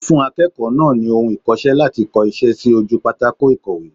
Ó fún akéèkòó náà ni ohun ikose láti ko isé sí ojú pátákó ìkọ̀wé